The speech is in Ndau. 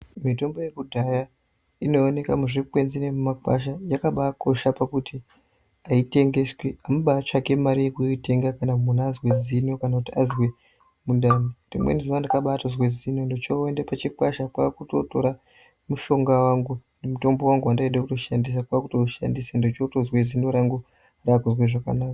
Mitombo yekudhaya inoonekwa muzvikwenzi nemumagwasha. Yakabakosha pakuti ayitengeswi, amubatsvaki mare yekutenga kana munhu azwe zino kana kuti azwe mundani. Rimweni zuwa ndakatobazwa zino ndochoenda pachikwasha kwakutotora mushonga wangu, mutombo wangu wandaida kushandisa ndochotozwe zino rangu rakuzwa zvakanaka.